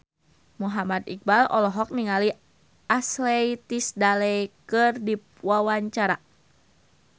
Muhammad Iqbal olohok ningali Ashley Tisdale keur diwawancara